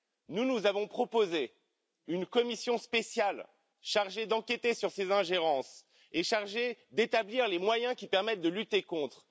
Nous, nous avons proposé une commission spéciale chargée d'enquêter sur ces ingérences et d'établir les moyens qui permettent de lutter contre.